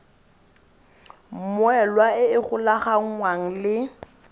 mmoelwa e e golaganngwang le